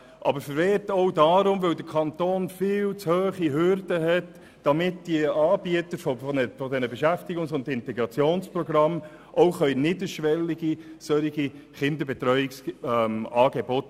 Der Kanton hat zudem viel zu hohe Hürden für die Zulassung solcher Kinderbetreuungsangebote.